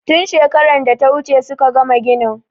Tun shekaran da ta wuce suka gama ginin.